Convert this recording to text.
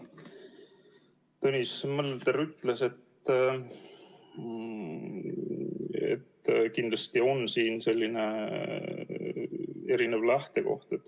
Tõnis Mölder ütles, et kindlasti on siin erinev lähtekoht.